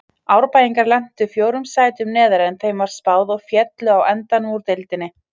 Árbæingar lentu fjórum sætum neðar en þeim var spáð og féllu á endanum úr deildinni.